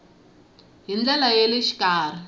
hi ndlela ya le xikarhi